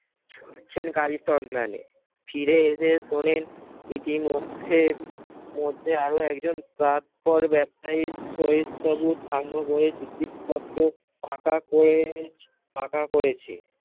ছুটছেন কালির সন্ধানে। ফিরে এসে শোনেন ইতিমধ্যে মধ্যে আরো একজন প্রাক্তন ব্যবসায়ী সই স্বরূপ সাঙ্গ করে চুক্তিপত্র পাকা করে ফাকা করেছে